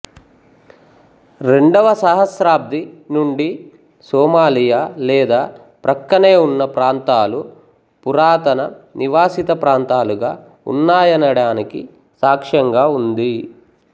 పూ రెండవ సహస్రాబ్ది నుండి సోమాలియా లేదా ప్రక్కనే ఉన్న ప్రాంతాలు పురాతన నివాసిత ప్రాంతాలుగా ఉన్నాయనడానికి సాక్ష్యంగా ఉంది